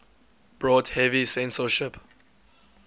brought heavy censorship